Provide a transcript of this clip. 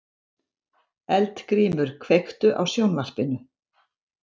Eldgrímur, kveiktu á sjónvarpinu.